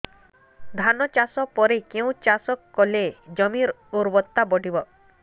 ଧାନ ଚାଷ ପରେ କେଉଁ ଚାଷ କଲେ ଜମିର ଉର୍ବରତା ବଢିବ